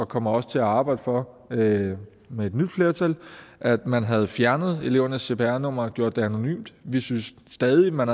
kommer også til at arbejde for det med et nyt flertal at man havde fjernet elevernes cpr numre og gjort det anonymt vi synes stadig man